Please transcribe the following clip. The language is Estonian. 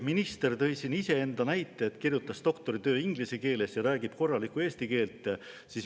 Minister tõi näiteks iseenda, ta kirjutas doktoritöö inglise keeles ja räägib korralikku eesti keelt.